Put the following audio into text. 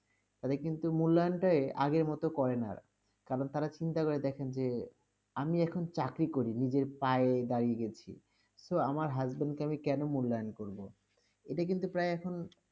তাদের কিন্তু মূল্যায়নটাই আগের মত করে না আর, কারণ তারা চিন্তা করে দেখেন যে, আমি এখন চাকরি করি, নিজের পায়ে দাঁড়িয়ে গেছি, so আমার husband -কে আমি কেন মূল্যায়ন করবো? এটা কিন্তু প্রায় এখন